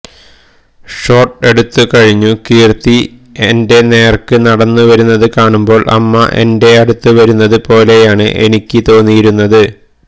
shot എടുത്തു കഴിഞ്ഞു കീര്ത്തി എന്റെ നേര്ക്ക് നടന്നു വരുന്നത് കാണുമ്പോള് അമ്മ എന്റടുത്തേക്ക് വരുന്നത് പോലെയാണ് എനിക്ക് തോന്നിയിരുന്നത്